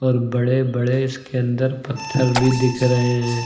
और बड़े बड़े इसके अंदर पत्थर भी दिख रहे हैं।